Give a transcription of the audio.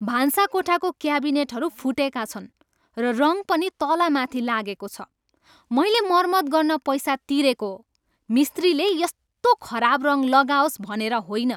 भान्साकोठाको क्याबिनेटहरू फुटेका छन्, र रङ पनि तल माथि लागेको छ। मैले मरम्मत गर्न पैसा तिरेको हो, मिस्त्रीले यस्तो खराब रङ लगाओस भनेर होइन!